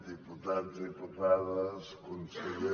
diputats diputades conseller